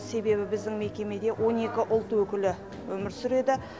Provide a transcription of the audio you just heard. себебі біздің мекемеде он екі ұлт өкілі өмір сүреді